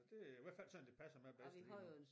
Det i hvert fald sådan det passer mig bedst lige nu